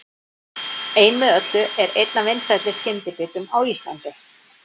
Ein með öllu er einn af vinsælli skyndibitum á Íslandi.